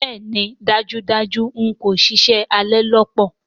Bẹẹni dajudaju n ko ṣiṣẹ, a le lọ papọ̀.